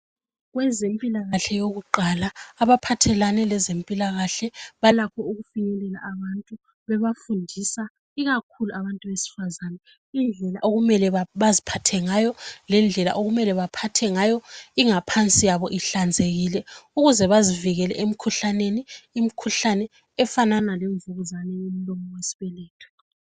Kwezempilakahle yokuqala abezempilakahle balakho ukufinyelela abantu benafundisa ikakhulu abesifazana benafundisa indlela okumele baziphathe ngayo lendlela okumelw baphathe ngayo ingaphansi yabo ihlanzekile ukuze bazivikele emikhuhlaneni ikakhulu umkhuhlane wemvukuzane yomlomo wesibeletho.